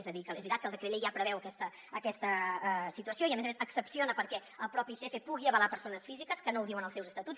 és a dir que és veritat que el decret llei ja preveu aquesta situació i a més a més excepciona perquè el mateix icf pugui avalar persones físiques que no ho diuen els seus estatuts